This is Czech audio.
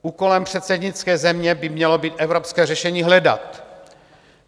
Úkolem předsednické země by mělo být evropské řešení hledat.